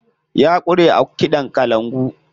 Ya ƙware a kiɗan kalangu.